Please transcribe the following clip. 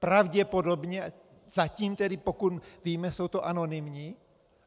Pravděpodobně, zatím tedy, pokud víme, jsou to anonymní.